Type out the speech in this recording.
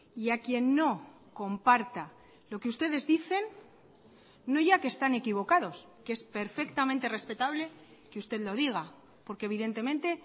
y a quien no comparta lo que ustedes dicen no ya que están equivocados que es perfectamente respetable que usted lo diga porque evidentemente